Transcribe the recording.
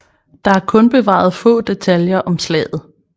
Der er kun bevaret få detaljer om slaget